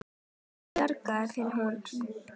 Málinu bjargað fyrir horn.